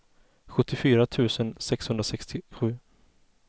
sjuttiofyra tusen sexhundrasextiosju